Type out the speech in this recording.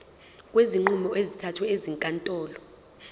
kwezinqumo ezithathwe ezinkantolo